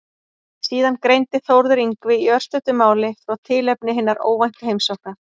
Síðan greindi Þórður Yngvi í örstuttu máli frá tilefni hinnar óvæntu heimsóknar.